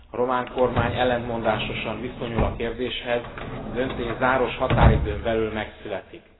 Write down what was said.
A román kormány ellentmondásosan viszonyul a kérdéshez, a döntés záros határidőn belül megszületik.